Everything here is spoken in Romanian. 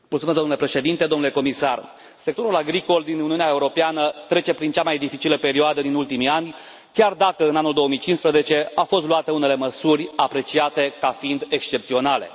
Domnule președinte, domnule comisar, sectorul agricol din Uniunea Europeană trece prin cea mai dificilă perioadă din ultimii ani, chiar dacă, în anul 2015, au fost luate unele măsuri apreciate ca fiind excepționale.